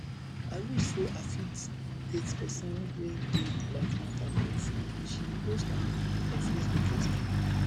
i wish say wish say i fit date person wey dey like martha boyfriend she post am for facebook yesterday